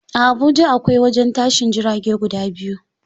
A Habuja akwai wajen tashin jirage guda biyu.